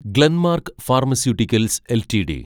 Glenmark pharmaceuticals LTD